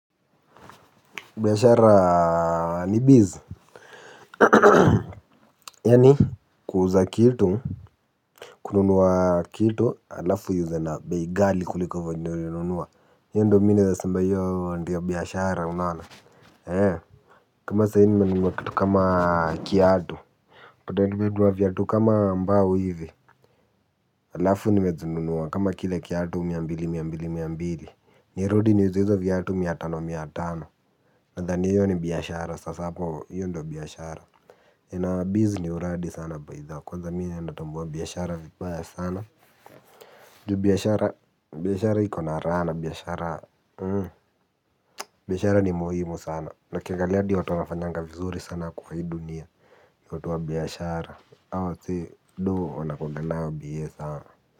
Biashara ni bizz, yaani kuuza kitu, kununua kitu alafu uuze na bei ghali kuliko vyenye ulinunua. Hiyo ndiyo mimi naweza sema hiyo ndiyo biashara unaona. He, kama saa hii nimenunua kitu kama kiatu. Kama mbao hivi, alafu nimezinunua kama kila kiatu mia mbili, mia mbili, mia mbili. Nirudi niziuze hizo viatu mia tano, mia tano. Nadhani hiyo ni biashara, sasa hapo hiyo ndiyo biashara in our biz ni uradi sana baitha kwanza mimi natambua biashara vibaya sana juu biashara, biashara iko na raha na biashara. Biashara ni muhimu sana. Na ukiangalia hadi watu wanafanyanga vizuri sana kwa hii dunia ni watu wa biashara, hao wasee dooh wanakunga nayo biye sana.